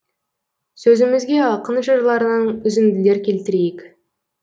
сөзімізге ақын жырларынан үзінділер келтірейік